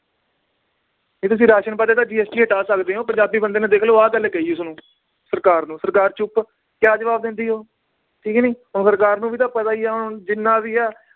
ਵੀ ਤੁਸੀਂ ਰਾਸ਼ਨ ਤੋਂ GST ਹਟਾ ਸਕਦੇ ਓ ਪੰਜਾਬੀ ਬੰਦੇ ਨੇ ਦੇਖ ਲਓ ਆਹ ਗੱਲ ਕਹੀ ਉਸਨੂੰ ਸਰਕਾਰ ਨੂੰ ਸਰਕਾਰ ਚੁੱਪ ਕਿਆ ਜਵਾਬ ਦਿੰਦੀ ਉਹ, ਠੀਕ ਨੀ ਹੁਣ ਸਰਕਾਰ ਨੂੰ ਵੀ ਤਾਂ ਪਤਾ ਈ ਆ ਹੁਣ ਜਿਨਾਂ ਵੀ ਆ